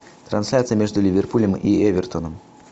трансляция между ливерпулем и эвертоном